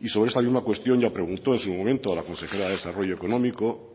y sobre esta misma cuestión ya preguntó en su momento a la consejera de desarrollo económico